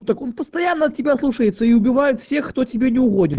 так он постоянно от тебя слушается и убивает всех кто тебе не угодин